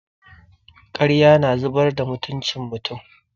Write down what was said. Ƙarya na zubar da mutucin mutum.